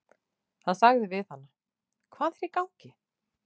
Hann sagði við hana: Hvað er í gangi?